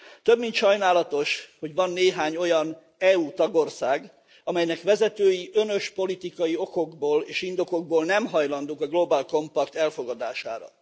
Több mint sajnálatos, hogy van néhány olyan EU tagország, amelynek vezetői önös politikai okokból és indokokból nem hajlandók a Global Compact elfogadására.